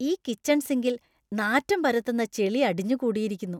ഈ കിച്ചൺ സിങ്കിൽ നാറ്റം പരത്തുന്ന ചെളി അടിഞ്ഞു കൂടിയിരിക്കുന്നു .